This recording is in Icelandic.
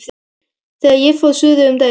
Þegar ég fór suður um daginn.